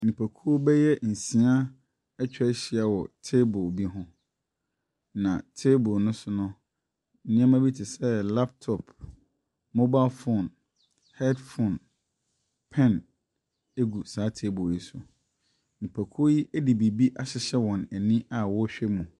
Nnipakuo bɛyɛ nsia atwa ahyia wɔ table bi ho, na table no sono, nneɛma bi te sɛ laptop, mobile phone, headphobe, pen gu saa table no so. Nipakuo yi de biribi ahyehyɛ wɔn a ni a wɔrehwɛ mu.